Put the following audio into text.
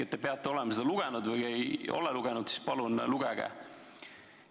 Te peate olema seda raportit lugenud, ja kui ei ole lugenud, siis palun lugege.